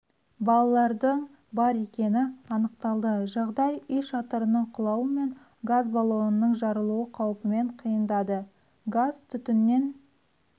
балалардың бар екені анықталды жағдай үй шатырының құлауы мен газ балонның жарылу қаупімен қиындады газ-түтіннен